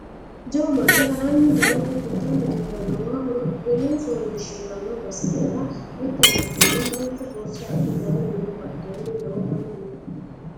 Jawu manni haranni daanni giddanni dirrannowa horophillu fooliishshiranno basera mitte manchonna manchu borsa adhe daanni no badheenni lowo manni no